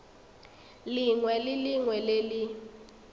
lengwe le lengwe le le